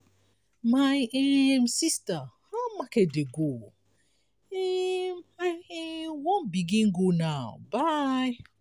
my um sista how market dey go? um i um wan begin go now bye.